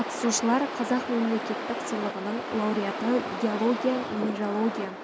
қатысушылар қазақ мемлекеттік сыйлығының лауреаты геология-минералогия